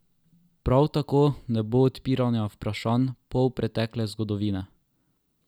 Prav tako ne bo odpiranja vprašanj polpretekle zgodovine.